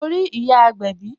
Mo rí ìyá agbẹ̀bí